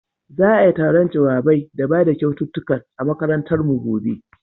Za'ai taron jawabai da bada kyaututtukan a makarantar mu gobe.